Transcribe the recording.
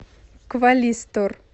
квалистор